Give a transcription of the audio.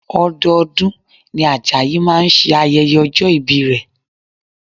Ọdọọdún ni Ajayi máa ṣe ayẹyẹ ọjọ́ ìbí rẹ̀